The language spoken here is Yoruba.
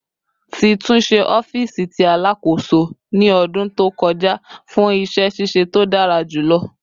Ti tunṣe ọfiisi ti Alakoso ni ọdun to kọja fun iṣẹ ṣiṣe to dara julọ